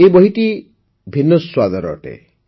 ଏହି ବହିଟି ଭିନ୍ନ ସ୍ୱାଦର ଅଟେ